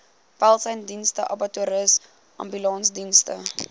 welsynsdienste abattoirs ambulansdienste